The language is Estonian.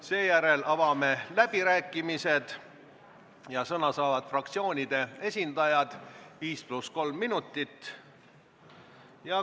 Siis avame läbirääkimised ja sõna saavad fraktsioonide esindajad, 5 + 3 minutit.